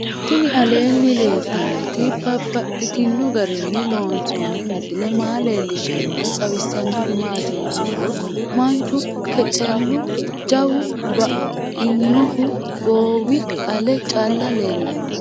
Tinni aleenni leelittannotti babaxxittinno garinni loonsoonni misile maa leelishshanno woy xawisannori maattiya yinummoro manchu kecelu jawu bainnohu goowi ale calla leellanno